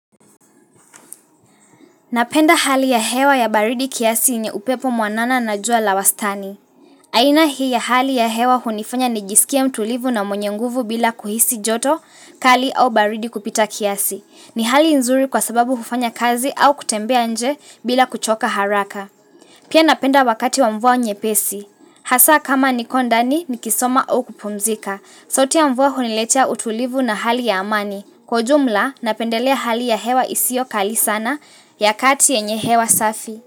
Napenda hali ya hewa ya baridi kiasi yenye upepo mwanana na jua la wastani. Aina hii ya hali ya hewa hunifanya nijiskie mtulivu na mwenye nguvu bila kuhisi joto kali au baridi kupita kiasi. Ni hali nzuri kwa sababu hufanya kazi au kutembea nje bila kuchoka haraka. Pia napenda wakati wa mvua nyepesi. Hasa kama niko ndani nikisoma au kupumzika. Sauti ya mvua huniletea utulivu na hali ya amani. Kwa ujumla napendelea hali ya hewa isio kali sana ya kati enye hewa safi.